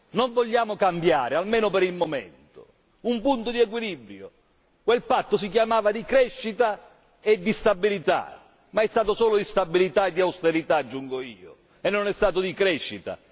Non vogliamo cambiare, almeno per il momento, un punto di equilibrio quel patto si chiamava di crescita e di stabilità ma è stato solo di stabilità e di austerità, aggiungo io, e non è stato di crescita.